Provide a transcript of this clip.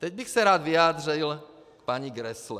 Teď bych se rád vyjádřil k paní Grässle.